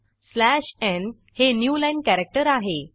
slash n हे new line character आहे